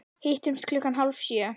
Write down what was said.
Hittumst klukkan hálf sjö.